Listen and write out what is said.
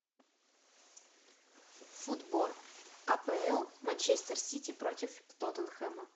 футбол апл манчестер сити против тоттенхэма